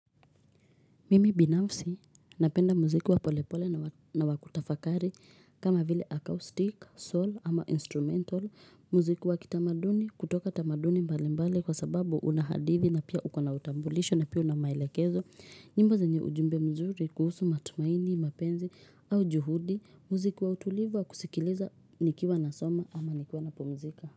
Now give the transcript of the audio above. Mimi binafsi napenda muziki wa polepole na wa kutafakari kama vile acoustic, soul ama instrumental muziki wakitamaduni kutoka tamaduni mbalimbali kwa sababu unahadithi na pia uko na utambulisho na pia una maelekezo nyimbo zenye ujumbe mzuri kuhusu matumaini, mapenzi au juhudi muziki wa utulivu wa kusikiliza nikiwa nasoma ama nikiwa napumzika.